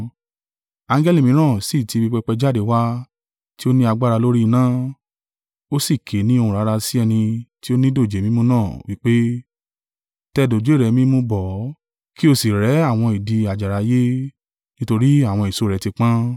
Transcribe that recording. Angẹli mìíràn sì tí ibi pẹpẹ jáde wá, tí ó ní agbára lórí iná; ó sì ké ni ohùn rara sí ẹni tí o ni dòjé mímú náà, wí pé, “Tẹ dòjé rẹ mímú bọ̀ ọ́, ki ó sì rẹ́ àwọn ìdì àjàrà ayé, nítorí àwọn èso rẹ̀ tí pọ́n.”